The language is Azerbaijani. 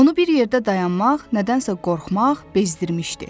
Onu bir yerdə dayanmaq, nədənsə qorxmaq bezdirmişdi.